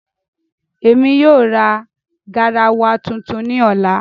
Ẹmi yóò ra gáràwà tuntun ni ọlà.